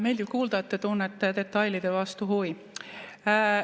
Meeldiv kuulda, et te tunnete detailide vastu huvi.